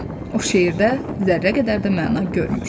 O şeirdə zərrə qədər də məna görmür.